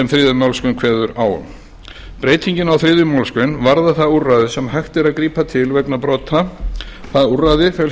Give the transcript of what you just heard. þriðju málsgrein kveður á um breytingin á þriðju málsgrein varðar það úrræði sem hægt er að grípa til vegna brota það úrræði felst